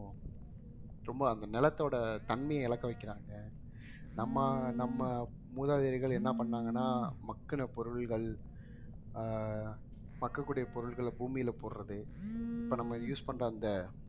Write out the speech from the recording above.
ரொம்ப அந்த நிலத்தோட தன்மையை இழக்க வைக்கிறாங்க நம்ம நம்ம மூதாதையர்கள் என்ன பண்ணாங்கன்னா மக்குன பொருள்கள் ஆஹ் மக்கக்கூடிய பொருள்களை பூமியில போடுறது இப்ப நம்ம use பண்ற அந்த